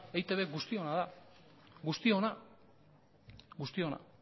eitb guztiona da guztiona guztiona